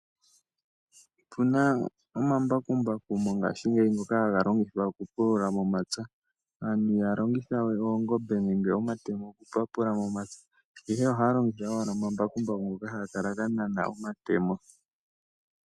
Otu na omambakumbaku mongaashingeyi haga longithwa oku pulula momapya. Aantu i haya longitha we oongombe nenge omatemo oku papula momapya, ndele ohaya longitha owala omambakumbaku ngoka haga kala ga nana omatemo.